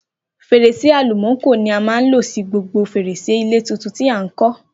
Fèrèsé àlùmákò ni a máa lo sí gbogbo fèrèsé ilé tuntun tí à ń kọ́